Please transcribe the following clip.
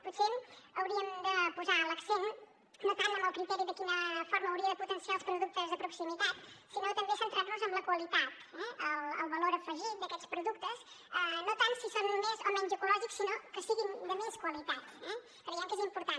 potser hauríem de posar l’accent no tant en el criteri de quina forma hauria de potenciar els productes de proximitat sinó també centrar nos en la qualitat eh el valor afegit d’aquests productes no tant si són més o menys ecològics sinó que siguin de més qualitat creiem que és important